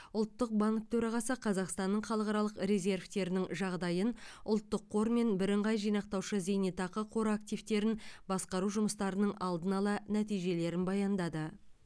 ұлттық банк төрағасы қазақстанның халықаралық резервтерінің жағдайын ұлттық қор мен бірыңғай жинақтаушы зейнетақы қоры активтерін басқару жұмыстарының алдын ала нәтижелерін баяндады